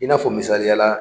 I n'a fɔ misaliya la.